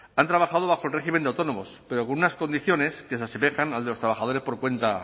han trabajado bajo el régimen de autónomos pero con unas condiciones que se asemejan al de los trabajadores por cuenta